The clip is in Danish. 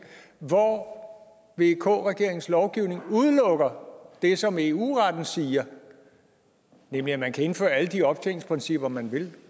hvor vk regeringens lovgivning udelukker det som eu retten siger nemlig at man kan indføre alle de optjeningsprincipper man vil